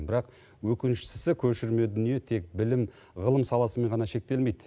бірақ өкініштісі көшірме дүние тек білім ғылым саласымен ғана шектелмейді